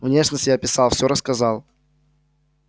внешность я описал все рассказал